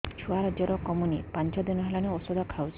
ଛୁଆ ଜର କମୁନି ପାଞ୍ଚ ଦିନ ହେଲାଣି ଔଷଧ ଖାଉଛି